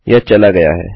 यह चला गया है